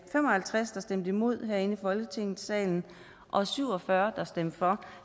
fem og halvtreds der stemte imod herinde i folketingssalen og syv og fyrre der stemte for